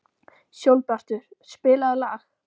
Sólbjartur, spilaðu lag.